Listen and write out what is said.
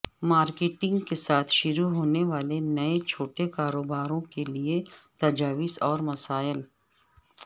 marketing کے ساتھ شروع ہونے والے نئے چھوٹے کاروباروں کے لئے تجاویز اور وسائل